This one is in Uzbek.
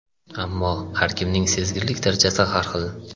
Ammo har kimning sezgirlik darajasi har xil.